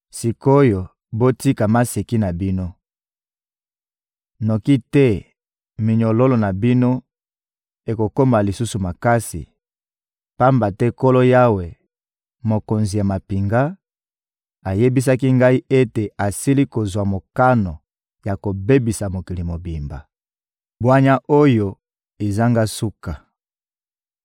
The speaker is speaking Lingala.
Sik’oyo, botika maseki na bino, noki te minyololo na bino ekokoma lisusu makasi; pamba te Nkolo Yawe, Mokonzi ya mampinga, ayebisaki ngai ete asili kozwa mokano ya kobebisa mokili mobimba. Bwanya oyo ezanga suka